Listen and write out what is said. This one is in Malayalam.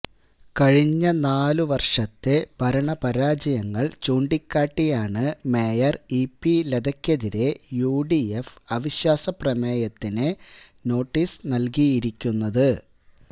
കഴിഞ്ഞ നാലുവര്ഷത്തെ ഭരണപരാജയങ്ങള് ചൂണ്ടിക്കാട്ടിയാണ് മേയര് ഇ പി ലതയ്ക്കെതിരേ യുഡിഎഫ് അവിശ്വാസപ്രമേയത്തിന് നോട്ടീസ് നല്കിയിരിക്കുന്നത്